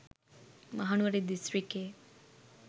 Mahanuwara දිස්ත්‍රකික්යේ